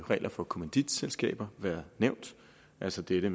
regler for kommanditselskaber været nævnt altså dette